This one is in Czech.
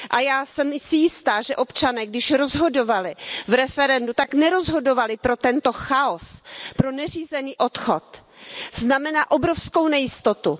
A já jsem si jistá, že občané, když rozhodovali v referendu, tak nerozhodovali pro tento chaos, pro neřízený odchod, který znamená obrovskou nejistotu.